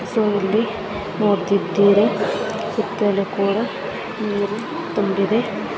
So ಇಲ್ಲಿ ನೋಡ್ತಿದ್ದೀರ ಸುತ್ತಲೂ ಕೂಡ ನೀರು ತುಂಬಿದೆ.